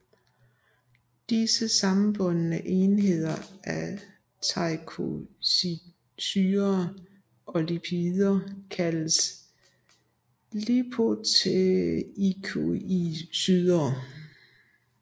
Disse sammenbundne enheder af teikoidsyrer og lipider kaldes lipoteikoidsyrer